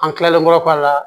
An kilalenkɔrɔ a la